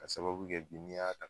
Ka sababu kɛ bi n'i ya ta